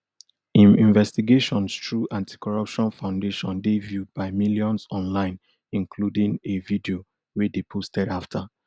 im investigations through anticorruption foundation dey viewed by millions online including a video wey dey posted afta